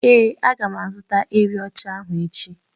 Ee, a ga m azụta ewi ocha ahụ echi